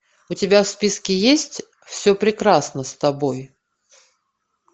у тебя в списке есть все прекрасно с тобой